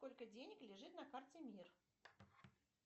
сколько денег лежит на карте мир